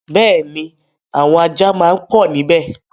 Bẹ́ẹ̀ni, àwọn ajá máa pọ̀ níbẹ̀.